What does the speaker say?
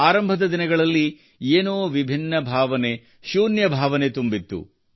ಆರಂಭದ ದಿನಗಳಲ್ಲಿ ಏನೋ ವಿಭಿನ್ನ ಭಾವನೆ ಶೂನ್ಯ ಭಾವನೆ ತುಂಬಿತ್ತು